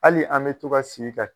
Hali an mɛ to ka sigi ka